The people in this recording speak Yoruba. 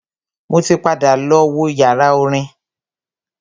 Mo ti padà lọ wo yàrá orin.